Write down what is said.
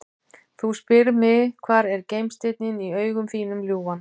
Þú spyrð mig hvar er gimsteinninn í augum þínum ljúfan?